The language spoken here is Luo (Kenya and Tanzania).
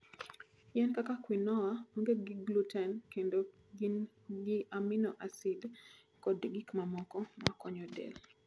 Yien kaka quinoa onge gi gluten kendo gin gi amino acid kod gik mamoko ma konyo del.